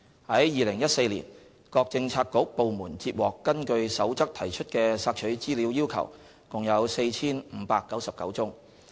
在2014年，各政策局/部門接獲根據《守則》提出的索取資料要求共有 4,599 宗。